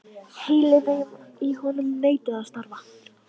Heilinn í honum neitaði að starfa.